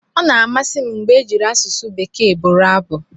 Ọ na-amasị m mgbe ejiri asụsụ Bekee bụrụ abụ.